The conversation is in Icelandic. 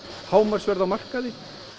hámarkverð á markaði